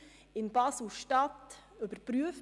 In Basel-Stadt wird es überprüft.